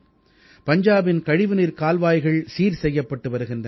பஞ்சாபின் கழிவுநீர்க் கால்வாய்கள் சீர் செய்யப்பட்டு வருகின்றன